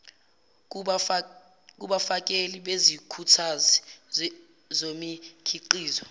kubafakeli bezikhuthazi zomikhiqizo